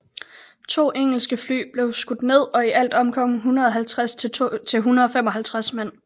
To engelske fly blev skudt ned og i alt omkom 150 til 155 mænd